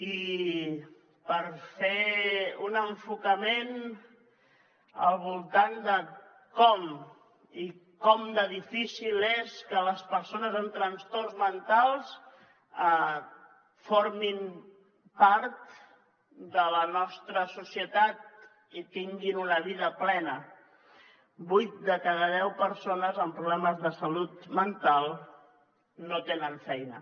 i per fer un enfocament al voltant de com i com de difícil és que les persones amb trastorns mentals formin part de la nostra societat i tinguin una vida plena vuit de cada deu persones amb problemes de salut mental no tenen feina